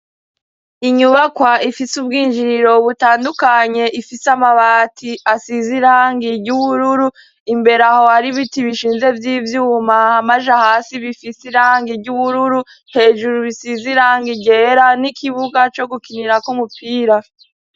Inyubakwa ifis' ubwinjiriro butandukanye ,ifise amabati asiz 'irangi ry'ubururu, imbere aho har'ibiti bishinze vy'ivyuma amaja hasi bifise irangi ry'ubururu hejuru bisiz' irangi ryera n'ikibuga co gukinirak'umupira.